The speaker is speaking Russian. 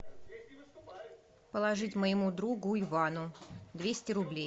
положить моему другу ивану двести рублей